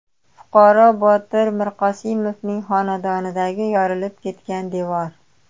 Fuqaro Botir Mirqosimovning xonadonidagi yorilib ketgan devor.